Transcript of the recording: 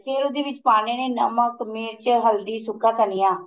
ਫੇਰ ਉਹਦੇ ਵਿੱਚ ਪਾਨੇ ਨੇ ਨਮਕ ਮਿਰਚ ਹਲਦੀ ਸੁੱਕਾ ਧਨੀਆ